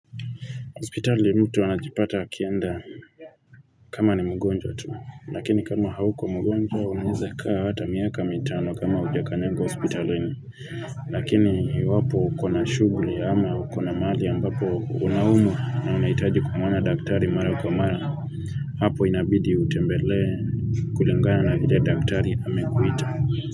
Hospitali mtu anajipata akienda kama ni mgonjwa tu, lakini kama hauko mgonjwa unaweza kaa hata miaka mitano kama hujakanyanga hospitalini, lakini iwapo ukona shughuli ama ukona mahali ambapo unaumwa na unahitaji kumwona daktari mara kwa mara, hapo inabidi utembelee kulingana na ile daktari amekuita.